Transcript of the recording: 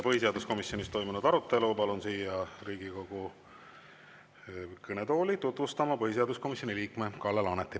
Põhiseaduskomisjonis toimunud arutelu palun siia Riigikogu kõnetooli tutvustama põhiseaduskomisjoni liikme Kalle Laaneti.